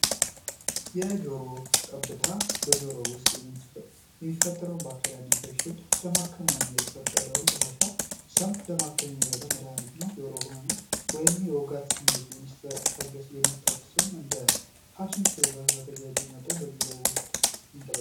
የጆሮ ጠብታ በጆሮ ውስጥ የሚፈጠረውን ለመከተለው